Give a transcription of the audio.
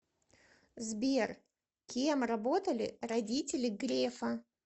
сбер кем работали родители грефа